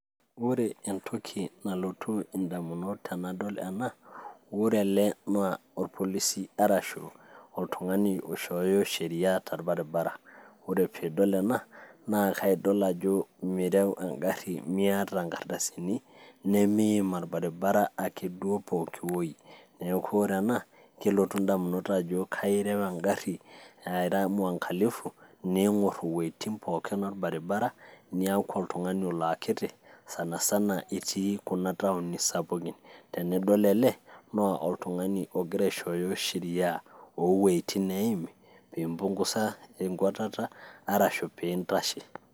ore entoki nalotu indamunot tenadol ena wore ele naa orpolisi arashu oltung'ani oishoyo sheria torbaribara ore pidol ena naa kaidol ajjo mirew engarri miata inkardasini nemim orbaribara ake duo pokiwoi neeku ore ena kelotu indamunot ajo kairew engarri aira mwangalifu ning'orr iwuetin pooki orbaribara niaku oltung'ani olo akiti sanasana itii kuna taoni sapukin tenidol ele naa oltung'ani ogira aishoyo sheria owueitin neimi piimpungusa enkuatata arashu piintashe.